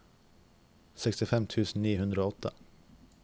sekstifem tusen ni hundre og åtte